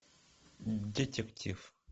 детектив